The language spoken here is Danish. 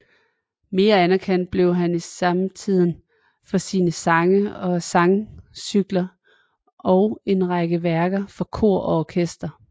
Mere anerkendt blev han i samtiden for sine sange og sangcykler og en række værker for kor og orkester